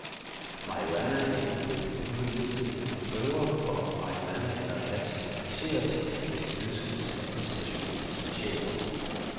Marihuana er ikke på den forbudte liste, men prøver for marihuana eller hash kan analyseres, hvis det ønskes af et internationalt specialforbund.